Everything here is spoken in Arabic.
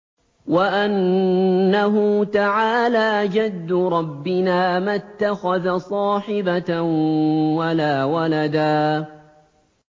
وَأَنَّهُ تَعَالَىٰ جَدُّ رَبِّنَا مَا اتَّخَذَ صَاحِبَةً وَلَا وَلَدًا